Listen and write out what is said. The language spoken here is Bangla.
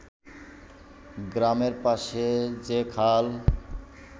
গ্রামের পাশে যে খাল